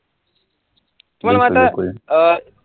अं